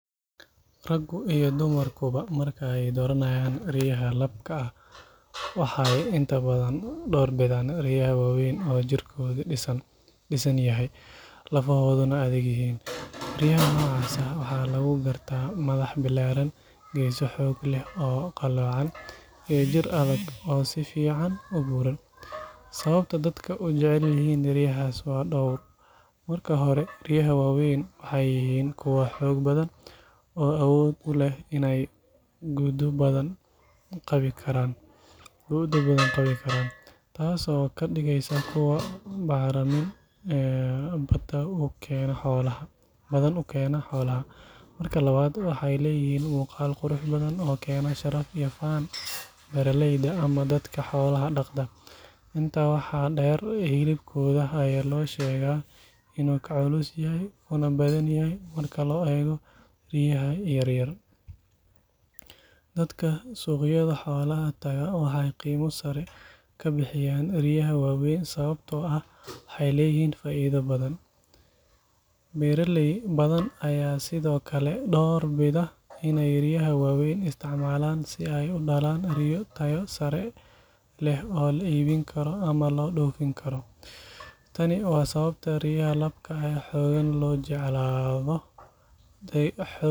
Raggu iyo dumarkuba marka ay dooranayaan riyaha labka ah waxay inta badan door bidaan riyaha waaweyn oo jirkoodu dhisan yahay, lafahooduna adag yihiin. Riyaha noocaas ah waxaa lagu gartaa madax ballaaran, geeso xoog leh oo qalloocan, iyo jir adag oo si fiican u buuran. Sababta dadka u jecel yihiin riyahaas waa dhowr. Marka hore, riyaha waaweyn waxay yihiin kuwa xoog badan oo awood u leh in ay gu’do badan qabi karaan, taas oo ka dhigeysa kuwo bacramin badan u keena xoolaha. Marka labaad, waxay leeyihiin muuqaal qurux badan oo keena sharaf iyo faan beeraleyda ama dadka xoolaha dhaqda. Intaa waxaa dheer, hilibkooda ayaa la sheegaa inuu ka culus yahay kuna badan yahay marka loo eego riyaha yaryar. Dadka suuqyada xoolaha tagaa waxay qiimo sare ka bixiyaan riyaha waaweyn sababtoo ah waxay leeyihiin faa’iido badan. Beeraley badan ayaa sidoo kale door bida inay riyahan waaweyn isticmaalaan si ay u dhalaan riyo tayo sare leh oo la iibin karo ama loo dhoofin karo. Tani waa sababta riyaha labka ah ee xooggan loo jeclaado.